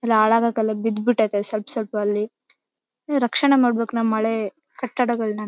ಇದು ಹಾಳಗಕ್ಕಲ್ಲಾ ಬಿದ್ಬಿಟ್ಟಿದೆ ಸ್ವಲ್ಪ ಸ್ವಲ್ಪ ಅಲ್ಲಿ ರಕ್ಷಣೆ ಮಾಡ್ಬೇಕು ನಮ್ ಹಳೆ ಕಟ್ಟಡಗಳನ್ನ --